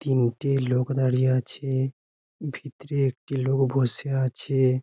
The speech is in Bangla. তিনটে লোক দাঁড়িয়ে আছে ভিতরে একটি লোক বসে আছে।